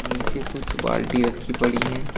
नीचे कुछ बाल्टी रखी पड़ी हैं।